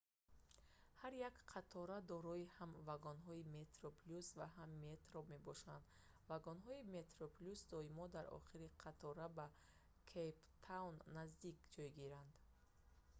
ҳар як қатора дорои ҳам вагонҳои metroplus ва ҳам metro мебошад вагонҳои metroplus доимо дар охири қатораи ба кейп таун наздик ҷойгиранд